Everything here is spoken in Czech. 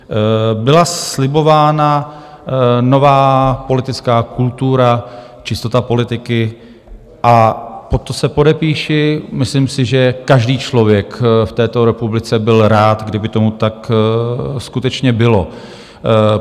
Byla slibována nová politická kultura, čistota politiky - a pod to se podepíši, myslím si, že každý člověk v této republice byl rád, kdyby tomu tak skutečně bylo.